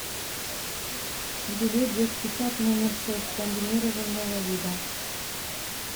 билет детский сад номер шесть комбинированного вида